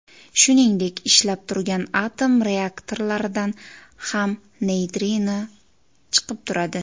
Shuningdek, ishlab turgan atom reaktorlaridan ham neytrino chiqib turadi.